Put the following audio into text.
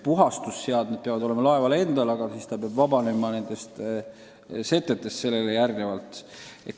Puhastusseadmed peavad olema laeval endal, aga järgmisena peab ta vabanema setetest.